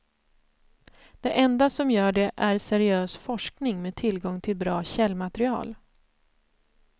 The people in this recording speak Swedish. Det enda som gör det är seriös forskning med tillgång till bra källmaterial.